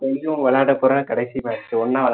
யும் விளையாடப்போற கடைசி match ஒண்ணா